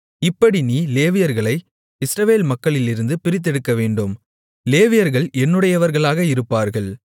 இப்படி நீ லேவியர்களை இஸ்ரவேல் மக்களிலிருந்து பிரித்தெடுக்கவேண்டும் லேவியர்கள் என்னுடையவர்களாக இருப்பார்கள்